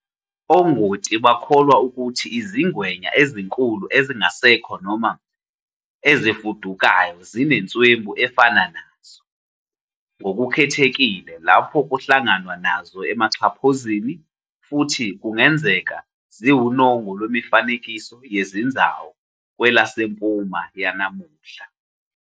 Ongoti bakholwa ukuthi izingwenya ezinkulu ezingasekho noma ezifudukayo zinenswebu efana nazo, ngokukhethekile lapho kuhlanganwa nazo emaxhaphozini, futhi kungenzeka ziwunongo lwemifanekiso yezinzawu kwelasempuma yanamuhla.